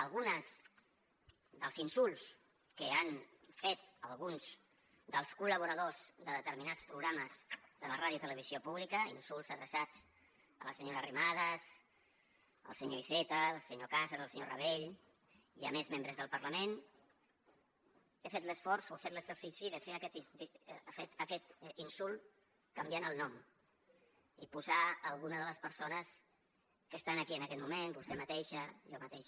alguns dels insults que han fet alguns dels col·laboradors de determinats programes de la radiotelevisió pública insults adreçats a la senyora arrimadas al senyor iceta al senyor cañas al senyor rabell i a més membres del parlament hem fet l’esforç o hem fet l’exercici de fer aquest insult canviant el nom i posar alguna de les persones que estan aquí en aquest moment vostè mateixa jo mateix